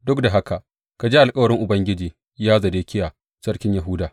Duk da haka ka ji alkawarin Ubangiji, ya Zedekiya sarkin Yahuda.